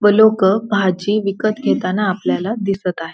व लोक भाजी विकत घेताना आपल्याला दिसत आहे.